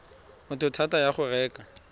motho thata ya go reka